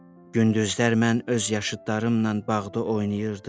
Gündüzlər mən öz yaşıdlarımla bağda oynayırdım,